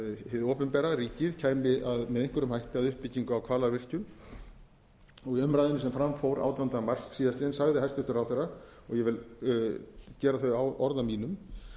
hið opinbera ríkið kæmi með einhverjum hætti að uppbyggingu á hvalárvirkjun í umræðunni sem fram fór átjánda mars síðastliðinn sagði ráðherra og ég vil gera þau orð að mínum